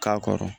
K'a kɔrɔ